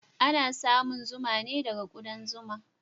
Ana samun zuma ne daga kudan zuma.